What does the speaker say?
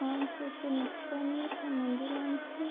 अशी नक्षीयान आणि त्या मंदिरांची--